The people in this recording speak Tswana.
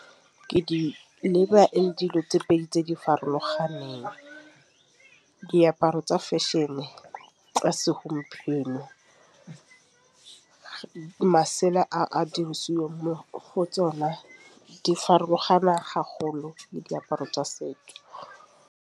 Ke di dilo tse pedi tse di farologaneng diaparo tsa fashion tsa segompieno. Masela a dirisiweng mo go tsona di farologana le diaparo tsa setso.